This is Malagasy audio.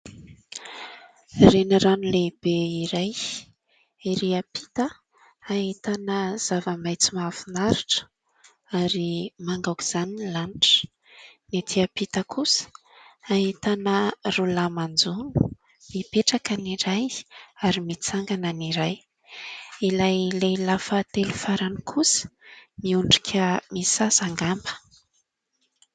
Renirano lehibe iray ery ampita ahitana zava-maintso mahafinaritra ary manga aoka izany ny lanitra, ny ety ampita kosa ahitana roa lahy manjono mipetraka any iray ary mitsangana iray ilay lehilahy fahatelo farany kosa miondrika misasa angamba.